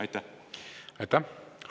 Aitäh!